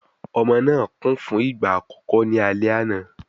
Ọmọ náà kùn fún ìgbà àkọ́kọ́ ní alẹ́ àná